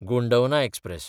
Gondwana express